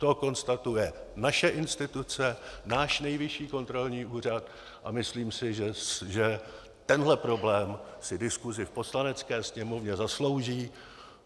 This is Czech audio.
To konstatuje naše instituce, náš Nejvyšší kontrolní úřad, a myslím si, že tenhle problém si diskusi v Poslanecké sněmovně zaslouží.